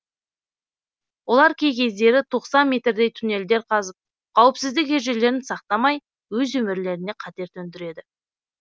олар кей кездері тоқсан метрдей туннельдер қазып қауіпсіздік ережелерін сақтамай өз өмірлеріне қатер төндіреді